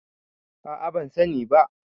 a a ban sani ba